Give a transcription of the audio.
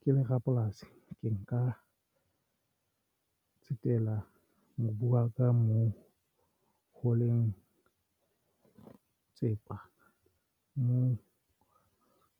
Ke le rapolasi ke nka tsetela mobu wa ka moo ho leng tsepa moo